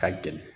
Ka gɛlɛn